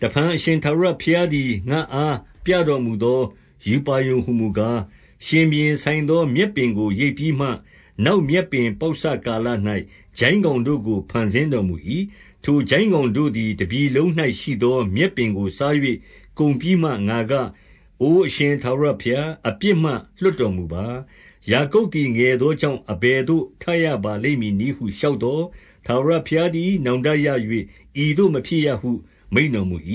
တဖန် အရှင်ထာဝရဘုရားသည် ငါ့အား ပြတော်မူသော ရူပါရုံဟူမူကား၊ ရှင်ဘုရင် ဆိုင်သော မြက်ပင်ကို ရိတ်ပြီးမှ၊ နောက်မြက်ပင်ပေါက်စကာလ၌ ကျိုင်းကောင်တို့ကို ဖန်ဆင်းတော်မူ၏။ 2 ထိုကျိုင်းကောင်တို့သည် တပြည်လုံး၌ရှိသော မြက်ပင်ကိုစား၍ ကုန်ပြီးမှငါက၊ အိုအရှင်ထာဝရဘုရား၊ အပြစ်မှ လွတ်တော်မူပါ။ ယာကုပ်သည် ငယ်သောကြောင့်၊ အဘယ်သို့ ထရပါလိမ့်မည်နည်းဟု လျှောက်သော်၊ 3 ထာဝရဘုရားသည် နောင်တရ၍၊ ဤသို့ မဖြစ်ရဟု မိန့်တော်မူ၏။ 4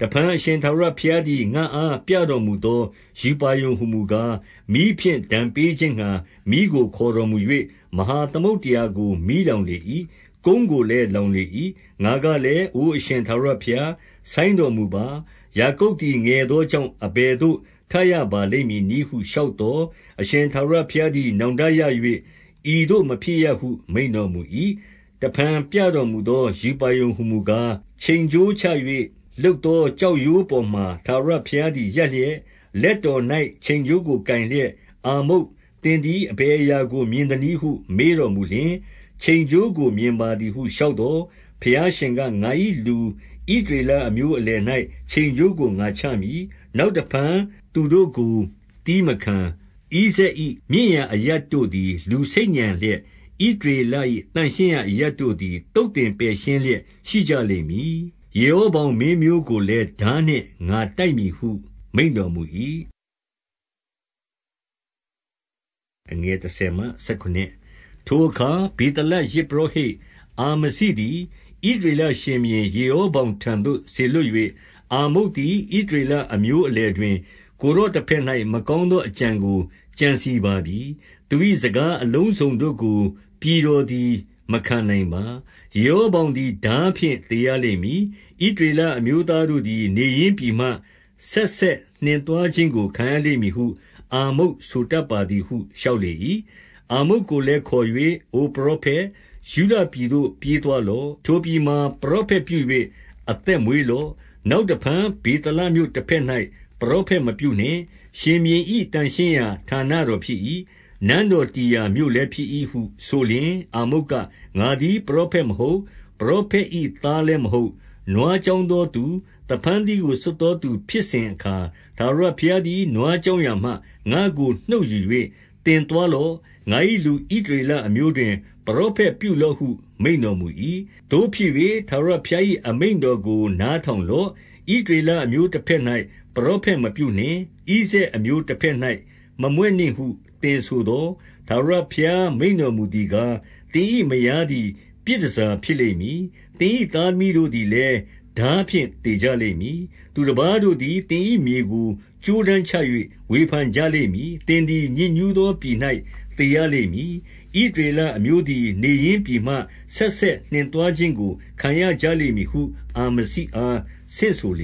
တဖန် အရှင်ထာဝရဘုရားသည် ငါ့အားပြတော်မူသော ရူပါရုံဟူမူကား၊ မီးဖြင့် ဒဏ်ပေးခြင်းငှါ မီးကို ခေါ်တော်မူ၍၊ မဟာသမုဒ္ဒရာကို မီးလောင်လေ၏။ ကုန်းကိုလည်း လောင်လေ၏။ 5 ငါကလည်း၊ အိုအရှင်ထာဝရဘုရား၊ ဆိုင်းတော်မူပါ။ ယာကုပ်သည် ငယ်သောကြောင့် အဘယ်သို့ ထရ ပါလိမ့်မည်နည်းဟု လျှောက်သော်၊ 6 အရှင်ထာဝရဘုရားသည် နောင်တရ၍၊ ဤသို့ မဖြစ်ရဟု မိန့်တော်မူ၏။ 7 တဖန် ပြတော်မူသော ရူပါရုံဟူမူကား၊ ချိန်ကြိုး ချ၍လုပ်သော ကျောက်ရိုးပေါ်မှာ ထာဝရဘုရားသည် ရပ်လျက်၊ လက်တော်၌ ချိန်ကြိုးကို ကိုင်လျက်၊ 8 အာမုတ်၊ သင်သည် အဘယ်အရာကို မြင်သနည်းဟု မေးတော်မူလျှင်၊ ချိန်ကြိုးကို မြင်ပါသည်ဟု လျှောက်သော်၊ ဘုရားရှင်က၊ ငါ၏လူဣသရေလအမျိုး အလယ်၌ ချိန်ကြိုးကို ငါချမည်။ နောက်တဖန် သူတို့ကို သည်းမခံ။ 9 ဣဇာက်၏မြင့်ရာအရပ်တို့သည် လူဆိတ်ညံလျက်၊ ဣသရေလ၏ သန့်ရှင်းရာအရပ်တို့သည် သုတ်သင် ပယ်ရှင်းလျက်ရှိကြလိမ့်မည်။ ယေရောဗောင်မင်းမျိုးကိုလည်း ထားနှင့်ငါတိုက်မည်ဟု မိန့်တော်မူ၏။ 10 ထိုအခါ ဗေသလယဇ်ပုရောဟိတ်အာမဇိသည် ဣသရေလရှင်ဘုရင် ယေရောဗောင်ထံသို့ စေလွှတ်၍၊ အာမုတ်သည် ဣသရေလအမျိုးအလယ်တွင် ကိုယ်တော် တဘက်၌ မကောင်းသောအကြံကို ကြံစည်ပါပြီ။ သူ၏ စကားအလုံးစုံတို့ကို ပြည်တော်သည် မခံနိုင်ပါ။ 11 ယေရောဗောင်သည် ထားဖြင့် သေရလိမ့်မည်။ ဣသရေလအမျိုးသားတို့သည် နေရင်းပြည်မှ ဆက်ဆက် နှင်သွားခြင်းကို ခံရကြလိမ့်မည်ဟု၊ အာမုတ်ဆိုတတ်ပါသည်ဟု လျှောက်လေ၏။ 12 အာမုတ်ကိုလည်းခေါ်၍၊ အိုပရောဖက်၊ ယုဒပြည်သို့ ပြေးသွားလော့။ ထိုပြည်မှာ ပရောဖက်ပြု၍ အသက်မွေးလော့။ 13 နောက်တဖန်ဗေသလမြို့တဘက်၌ ပရောဖက် မပြုနှင့်။ ရှင်ဘုရင်၏ သန့်ရှင်းရာဌာနတော် ဖြစ်၏။ နန်းတော်တည်ရာမြို့လည်း ဖြစ်၏ဟု ဆိုလျှင်၊ 14 အာမုတ်က၊ ငါသည် ပရောဖက်မဟုတ်၊ ပရောဖက်၏သားလည်းမဟုတ်ဘဲ၊ နွားကျောင်းသောသူ၊ သဖန်း သီးကို ဆွတ်သောသူဖြစ်စဉ်အခါ၊ 15 ထာဝရဘုရားသည် နွားကျောင်းရာမှ ငါ့ကို နှုတ်ယူ၍၊ သင်သွားလော့။ ငါ၏လူဣသရေလအမျိုးတွင် ပရောဖက်ပြုလော့ဟု မိန့်တော်မူ၏။ 16 သို့ဖြစ်၍၊ ထာဝရဘုရား၏အမိန့်တော်ကို နားထောင်လော့။ ဣသရေလအမျိုးတဘက်၌ ပရောဖက် မပြုနှင့်၊ ဣဇာက်အမျိုးတဘက်၌ မမြွက်နှင့်ဟု သင်ဆိုသော်၊ 17 ထာဝရဘုရားမိန့်တော်မူသည်ကား၊ သင်၏ မယားသည် ပြည်တန်ဆာဖြစ်လိမ့်မည်။ သူတပါးတို့သည် သင်၏မြေကို ကြိုးတန်းချ၍ ဝေဖန်ကြလိမ့်မည်။ သင်သည် ညစ်ညူးသော ပြည်၌ သေရလိမ့်မည်။ ဣသရေလ အမျိုးသည် နေရင်းပြည်မှ ဆက်ဆက်နှင်သွားခြင်းကို ခံရကြလိမ့်မည်ဟု၊ အာမဇိအား ဆင့်ဆိုလ